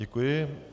Děkuji.